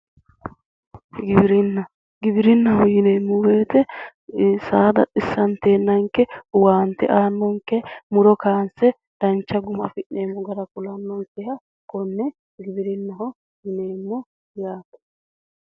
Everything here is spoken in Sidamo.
Giwirinna giwirinnaho yineemmo woyiite saaada xissanteennanke owante aannonke muro kaanse dancha muro afi'neemmo gara kulannonke konne giwirinnaho yaate.